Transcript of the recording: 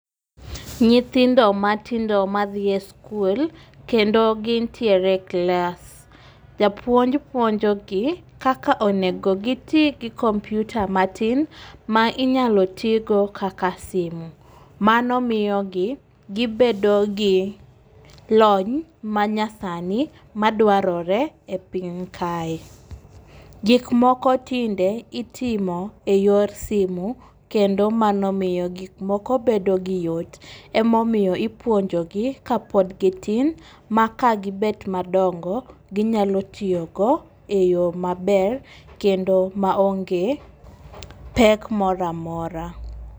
Nyithindo matindo madhi e skul kendo gintiere klas. Japuonj puonjo gi kaka onego giti gi komputa matin ma inyalo tii go kaka simu. Mano miyo gi gibedo gi lony ma nya sani madwarore e piny kae. Gik moko tinde itimo e yor simo kendo mano miyo gik moko bedo gi yot. Emomiyo ipuonjo gi kapod gitin ma ka gibet madongo, ginyalo tiyo go e yo maber kendo maonge pek moramora.